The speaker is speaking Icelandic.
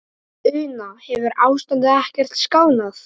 Una, hefur ástandið ekkert skánað?